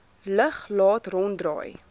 lug laat ronddraai